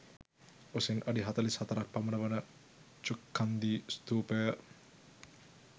උසින් අඩි 44 ක් පමණ වන ඡුක්ඛන්දී ස්ථූපය